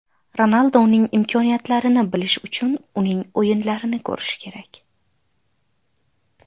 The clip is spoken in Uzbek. Ronalduning imkoniyatlarini bilishi uchun esa uning o‘yinlarini ko‘rishi kerak.